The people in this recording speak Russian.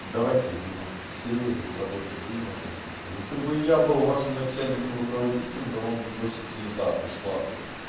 давайте немножко посерьёзнее к работе будем относиться если бы я был вашим начальником руководителем дома бы вообще пизда пришла бы